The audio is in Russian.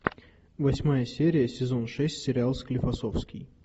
восьмая серия сезон шесть сериал склифосовский